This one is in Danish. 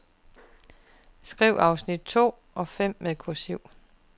Skriv afsnit to og fem med kursiv.